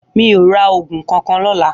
Mi ó rà ógún kànkàn lòlã